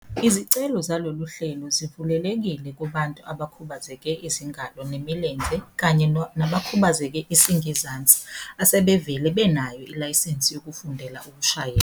Izicelo zalolu hlelo zivulelekile kubantu abakhubazeke izingalo nemilenze kanye nabakhubazeke isingezansi asebevele benayo ilayisensi yokufundela ukushayela.